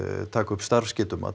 taka upp starfsgetumat